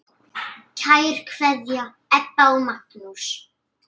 Kær kveðja, Ebba og Magnús.